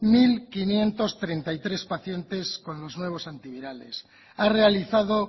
mil quinientos treinta y tres pacientes con los nuevos antivirales ha realizado